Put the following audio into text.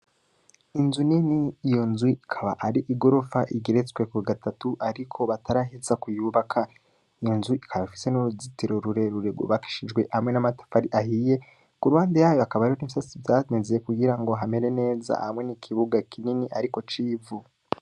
Inzu nini, iyo nzu ikaba ari igorofa igeretsweko gatatu ariko bataraheza kuyubaka. Inzu ikaba ifise n' uruzitiro rwubakishijwe hamwe n' amatafari ahiye, ku ruhande yayo hakaba hariho n' ivyatsi vyameze kugira hamere neza, hamwe n' ikibuga kinini, ariko c' ivu.